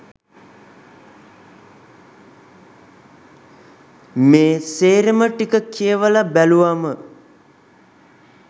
මේ සේරම ටික කියවල බැලුවම